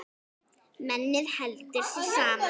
Mennið heldur sér saman.